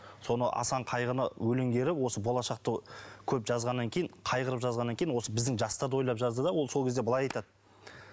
соны асан қайғыны өлеңдері осы болашақты көп жазғаннан кейін қайғырып жазғаннан кейін осы біздің жастарды ойлап жазды да ол сол кезде былай айтады